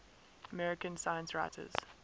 american science writers